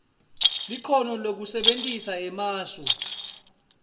likhono lekusebentisa emasu